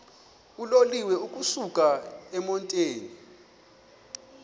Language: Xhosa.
uloliwe ukusuk emontini